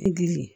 Dili